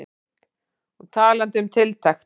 Og talandi um tiltekt.